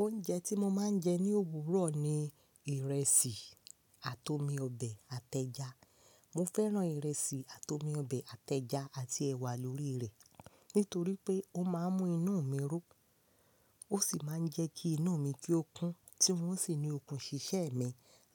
Oúnjẹ tí mo máa ń jẹ ní òwúrọ̀ ni ìrẹsì àti omi ọbẹ̀ àti ẹja. Mo fẹ́ràn ìrẹsì àti omi ọbẹ̀ àti ẹja àti ẹ̀wà lórí rẹ̀. Nítorí pé ó máa ń mú inú mi ro, ó sì máa ń jẹ́ kí inú mi ki okún, tí mò ń sì ní okun ṣíṣe mi